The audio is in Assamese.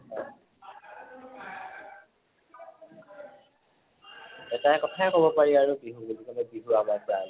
এটা কথাই কʼব পাৰি আৰু বিহু বুলি কʼলে, বিহু আমাৰ প্ৰাণ ।